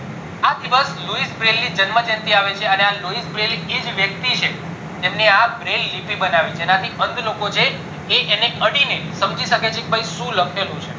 આ દિવસે Louis Braille જન્મ જયંતી આવે છે અને આ Louis Braille એજ વ્યક્તિ છે જેમને આ Braille બનાવી જેનાથી અંધ લોકો છે એ એને અડીને સમજી શકે છે કે શું લખેલું છે